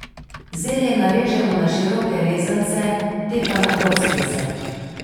Zelje narežemo na široke rezance, te pa na kockice.